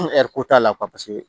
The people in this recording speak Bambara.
t'a la